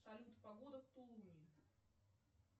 салют погода в тулуне